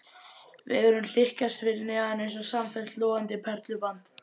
Vegurinn hlykkjaðist fyrir neðan eins og samfellt logandi perluband.